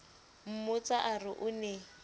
mmotsa a re o ne